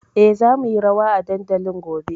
E, za mu yi rawa a dandalin gobe.